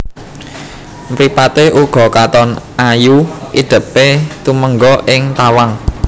Mripaté uga katon ayu idèpé tumengga ing tawang